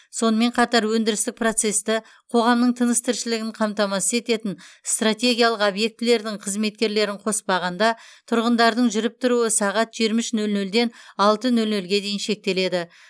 сонымен қатар өндірістік процесті қоғамның тыныс тіршілігін қамтамасыз ететін стратегиялық объектілердің қызметкерлерін қоспағанда тұрғындардың жүріп тұруы сағат жиырма үш нөл нөлден алты нөл нөлге дейін шектеледі